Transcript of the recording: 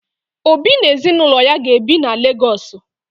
Obi na ezinụlọ ya ga-ebi na Legọọsụ